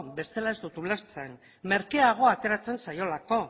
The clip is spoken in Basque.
bestela ez dut ulertzen merkeago ateratzen zaiolako